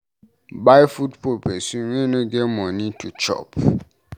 Buy food for pesin wey no get moni to chop.